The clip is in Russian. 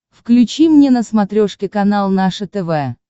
включи мне на смотрешке канал наше тв